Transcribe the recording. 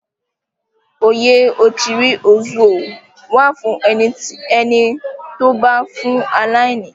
Oyè Ochiri Ozuo wà fún ẹni tó bá ń fún aláìní.